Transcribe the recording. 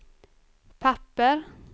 papper